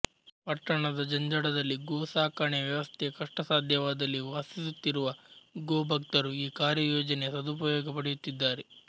ಪಟ್ಟಣದ ಜಂಜಡದಲ್ಲಿ ಗೋ ಸಾಕಣೆಯ ವ್ಯವಸ್ಥೆ ಕಷ್ಟಸಾಧ್ಯವಾದಲ್ಲಿ ವಾಸಿಸುತ್ತಿರುವ ಗೋಭಕ್ತರು ಈ ಕಾರ್ಯಯೋಜನೆಯ ಸದುಪಯೋಗ ಪಡೆಯುತ್ತಿದ್ದಾರೆ